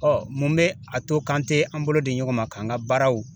Ɔɔ mun be a to kan te an bolo di ɲɔgɔn ma k'an ka baaraw